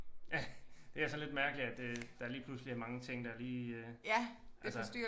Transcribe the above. Ja det er sådan lidt mærkeligt at øh der lige pludselig er mange ting der lige altså